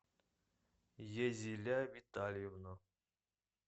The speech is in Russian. езиля витальевна